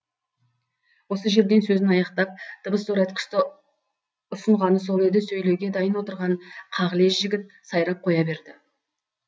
осы жерден сөзін аяқтап дыбыс зорайтқышты ұсынғаны сол еді сөйлеуге дайын отырған қағілез жігіт сайрап қоя берді